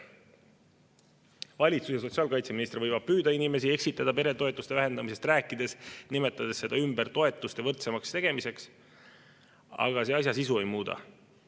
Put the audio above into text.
Valitsus ja sotsiaalkaitseminister võivad peretoetuste vähendamisest rääkides püüda inimesi eksitada, nimetades seda toetuste võrdsemaks tegemiseks, aga see asja sisu ei muuda.